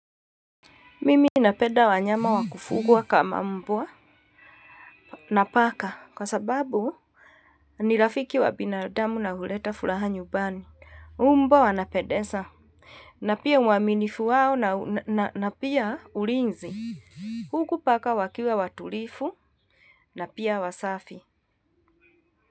Mimi napenda wanyama wakufugwa kama mbwa na paka kwa sababu nirafiki wa binadamu na huleta furaha nyumbani. Mbwa wanapendeza na pia uaminifu wao na pia ulinzi. Huku paka wakiwa watulivu na pia wasafi.